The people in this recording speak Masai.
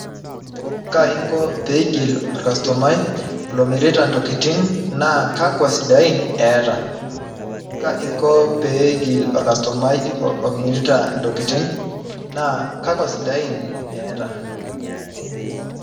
Kaingo pegil orkastomai naa kakwa sidain eeta kaingo pegil orkastomai naa kakwa sidain eeta.